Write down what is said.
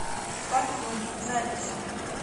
парфюм запись